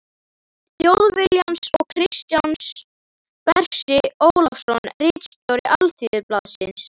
Þjóðviljans og Kristján Bersi Ólafsson ritstjóri Alþýðublaðsins.